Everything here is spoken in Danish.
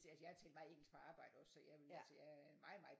Altså jeg har talt meget engelsk på arbejdet også jeg ville så jeg er meget meget